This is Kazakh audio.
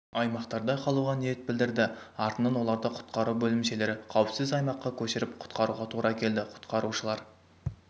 аймақтарда қалуға ниет білдірді артынан оларды құтқару бөлімшелері қауіпсіз аймаққа көшіріп құтқаруға тура келді құтқарушылар